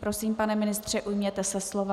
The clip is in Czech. Prosím, pane ministře, ujměte se slova.